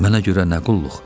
Mənə görə nə qulluq?